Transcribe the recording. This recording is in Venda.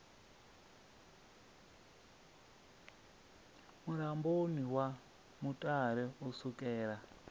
mulamboni wa mutale u sukela